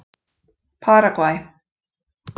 Paragvæ